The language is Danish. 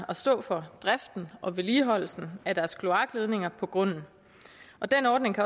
at stå for driften og vedligeholdelsen af deres kloakledninger på grunden den ordning